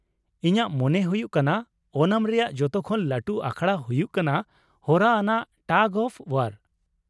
ᱤᱧᱟᱹᱜ ᱢᱚᱱᱮ ᱦᱩᱭᱩᱜ ᱠᱟᱱᱟ ᱳᱱᱟᱢ ᱨᱮᱭᱟᱜ ᱡᱚᱛᱚ ᱠᱷᱚᱱ ᱞᱟᱹᱴᱩ ᱟᱠᱷᱲᱟ ᱦᱩᱭᱩᱜ ᱠᱟᱱᱟ ᱦᱚᱨᱟ ᱟᱱᱟᱜ ᱴᱟᱜᱽ ᱚᱯᱷ ᱳᱣᱟᱨ ᱾